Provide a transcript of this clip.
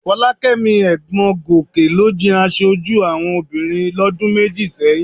Fọlákẹ́mi ẹ̀gbọ́n Gòkè ló jẹ aṣojú àwọn obìnrin lọ́dún méjì sẹ́yìn